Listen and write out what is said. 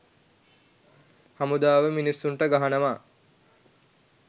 හමුදාව මිනිස්සුන්ට ගහනවා